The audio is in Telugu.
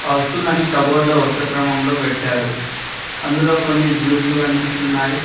వస్తువులన్నీ కబోర్డ్లో వరుసక్రమంలో పెట్టారు అందులో కొన్ని జ్యూస్ లు కన్పిస్తున్నాయి.